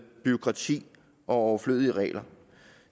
bureaukrati og overflødige regler